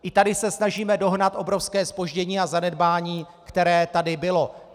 I tady se snažíme dohnat obrovské zpoždění a zanedbání, které tady bylo.